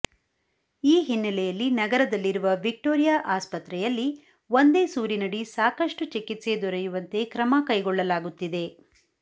ಈ ಹಿನ್ನೆಲೆಯಲ್ಲಿ ನಗರದಲ್ಲಿರುವ ವಿಕ್ಟೋರಿಯಾ ಆಸ್ಪತ್ರೆಯಲ್ಲಿ ಒಂದೇ ಸೂರಿನಡಿ ಸಾಕಷ್ಟು ಚಿಕಿತ್ಸೆ ದೊರೆಯುವಂತೆ ಕ್ರಮ ಕೈಗೊಳ್ಳಲಾಗುತ್ತಿದೆ